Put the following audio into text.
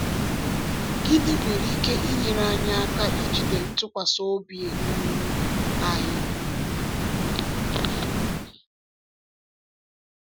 Gịnị nwere ike inyere anyị aka ijide ntụkwasị obi um anyị?